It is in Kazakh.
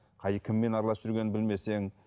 қай кіммен араласып жүргенін білмесең